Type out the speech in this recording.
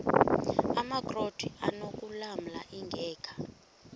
amakrot anokulamla ingeka